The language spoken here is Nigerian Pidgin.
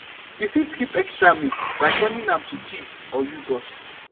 you fit keep extra milk by turning am to cheese or yoghurt